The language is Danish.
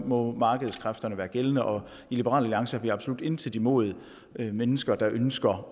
må markedskræfterne være gældende og i liberal alliance har vi absolut intet imod mennesker der ønsker